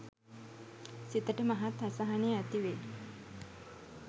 සිතට මහත් අසහනය ඇතිවේ.